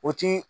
O ti